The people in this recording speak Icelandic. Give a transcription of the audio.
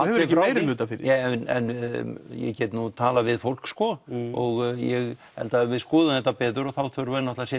hefur ekki meirihluta fyrir því en ég get nú talað við fólk sko og ég held að ef við skoðum þetta betur þá þurfum við náttúrulega